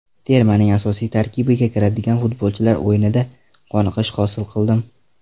Termaning asosiy tarkibiga kiradigan futbolchilar o‘yinidan qoniqish hosil qildim.